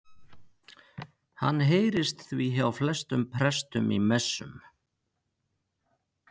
Hann heyrist því hjá flestum prestum í messum.